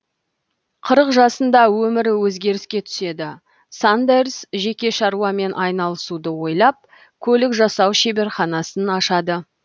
қырық жасында өмірі өзгеріске түседі сандерс жеке шаруамен айналысуды ойлап көлік жасау шеберханасын ашады